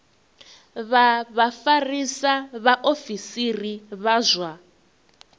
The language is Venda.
vha vhafarisa vhaofisiri vha zwa